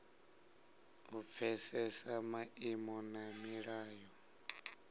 u pfesesa maimo na milayo